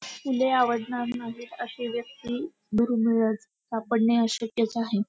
फुले आवडणार नाहीत अशी व्यक्ती दुर्मिळच सापडणे अशक्यच आहे.